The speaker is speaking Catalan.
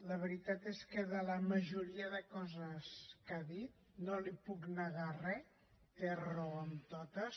la veritat és que de la majoria de coses que ha dit no li’n puc negar re té raó en totes